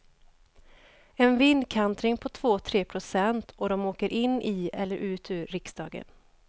En vindkantring på två tre procent, och de åker in i eller ut ur riksdagen.